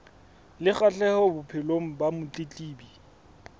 le kgahleho bophelong ba motletlebi